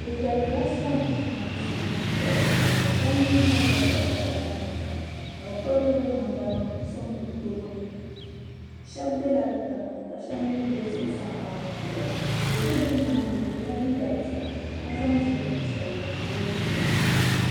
Bɛ yɛrigila sɔna ka musulinim puhiri jingli shɛba mi zaŋla sajɛda nim sɔŋ ka bɛ pirigi bɛ namda nim sɔŋ bɛ tooni shɛba bɛla tiŋli ka shɛba mii bɛ zuɣusaa maa ni puhiria do so bɛ nimani o yɛla liiga piɛlli ka zaŋla zipili piɛlli m pili o zuɣuni.